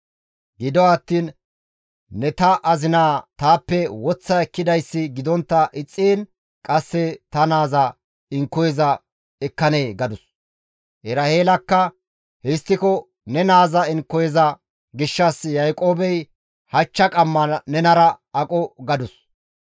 Gido attiin, «Ne ta azinaza taappe woththa ekkidayssi gidontta ixxiin qasse ta naaza inkoyeza ekkanee?» gadus. Eraheelakka, «Histtiko ne naaza inkoyeza gishshas Yaaqoobey hachcha qamma nenara aqo» gadus.